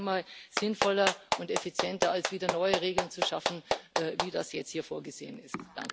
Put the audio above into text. Es wäre zehnmal sinnvoller und effizienter als wieder neue Regeln zu schaffen, wie das jetzt hier vorgesehen ist.